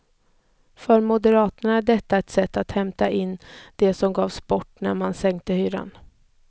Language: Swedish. För moderaterna är detta ett sätt att hämta in det som gavs bort när man sänkte hyran.